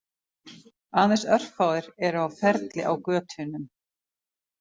Aðeins örfáir eru á ferli á götunum